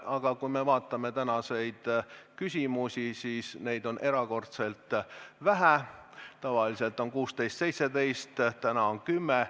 Aga kui me vaatame tänaseid küsimusi, siis neid on erakordselt vähe: tavaliselt on 16 või 17, täna on 10.